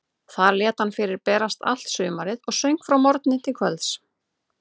Þar lét hann fyrir berast allt sumarið og söng frá morgni til kvölds.